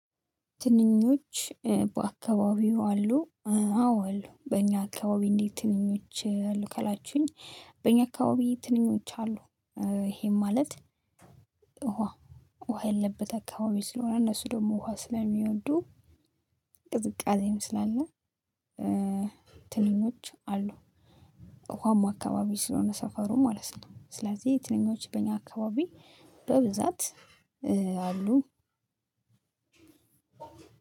ትንኞች በአካባቢው አሉ። አዎ አሉ በእኛ አካባቢ እንዴት? ትንኞች አሉ ካላችሁኝ። በእኛ አካባቢ ትንኞች አሉ። ይሄም ማለት ውሃ ውሃ ያለበት አካባቢ ስለሆነ እነሱ ደግሞ ውሃ ስለሚወዱ ቅዝቃዜም ስላለ ነው። ትንኞች አሉ። ውሀማ አካባቢ ስለሆነ ሰፈሩ ማለት ነው። ስለዚህ ትንኞች በእኛ አካባቢ በብዛት አሉ።